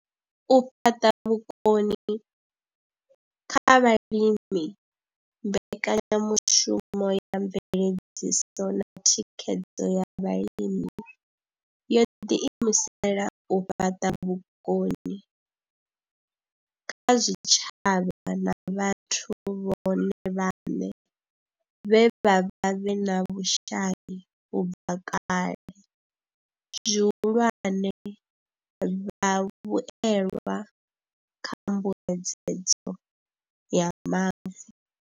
U fhaṱa vhukoni kha vhalimi mbekanyamushumo ya mveledziso na thikhedzo ya vhalimi yo ḓi imisela u fhaṱa vhukoni kha zwitshavha na vhathu vhone vhaṋe vhe vha vha vhe na vhushai u bva kale, zwihulwane, vhavhuelwa kha mbuedzedzo ya mavu.